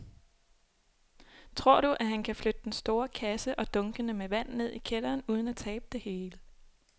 Tror du, at han kan flytte den store kasse og dunkene med vand ned i kælderen uden at tabe det hele?